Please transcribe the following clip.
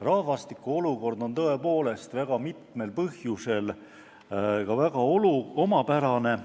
rahvastiku olukord on väga mitmel põhjusel tõepoolest väga omapärane.